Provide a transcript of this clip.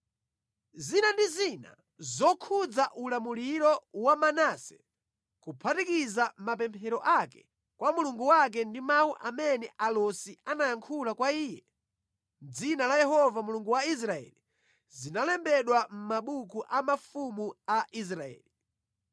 Zina ndi zina zokhudza ulamuliro wa Manase, kuphatikiza mapemphero ake kwa Mulungu wake ndi mawu amene alosi anayankhula kwa iye mʼdzina la Yehova Mulungu wa Israeli, zalembedwa mʼmabuku a mafumu a Israeli.